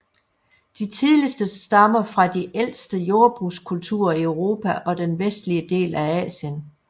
De tidligste stammer fra de ældste jordbrugskulturer i Europa og den vestlige del af Asien